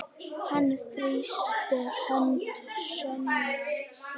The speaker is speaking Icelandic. Hann þrýsti hönd sonar síns.